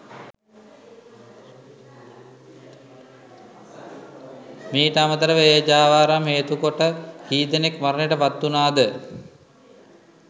මීට අමතරව ඒ ජාවාරම් හේතුකොට කීදෙනෙක් මරණයට පත්වුණාද